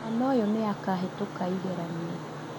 Mwana ũyũ nĩ akũhĩtũka igeranio